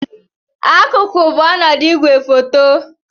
Akụkụ bụ ọnọdụ igwefoto.